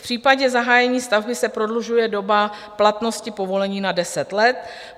V případě zahájení stavby se prodlužuje doba platnosti povolení na 10 let.